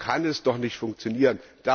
So kann es doch nicht funktionieren!